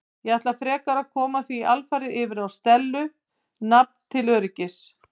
Ég ætla frekar að koma því alfarið yfir á Stellu nafn til öryggis.